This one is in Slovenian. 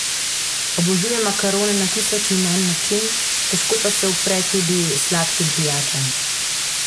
Obožuje makarone na tisoč in en način, težko pa se upre tudi sladkim pijačam.